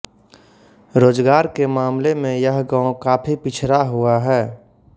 रोजगार के मामले में यह गांव काफी पिछड़ा हुआ है